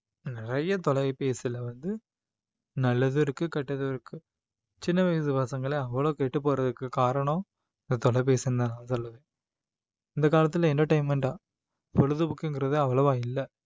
நிறைய தொலைபேசியில வந்து நல்லதும் இருக்கு கெட்டதும் இருக்கு சின்ன வயசு பசங்களே அவ்வளவு கெட்டுப்போறதுக்கு காரணம் இந்த தொலைபேசி இந்த காலத்துல entertainment ஆ பொழுதுபோக்குங்கிறது அவ்வளவா இல்ல